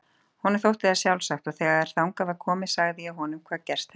Honum þótti það sjálfsagt og þegar þangað var komið sagði ég honum hvað gerst hafði.